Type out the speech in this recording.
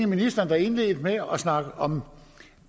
ministeren der indledte med at snakke om